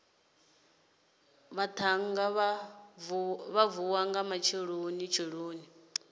vhaṱhannga vha vuwa nga matshelonitsheloni